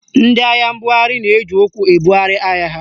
Ndị ahịa mbugharị na-eji ụkwụ ebugharị ahịa ha.